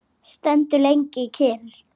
Stendur lengi kyrr.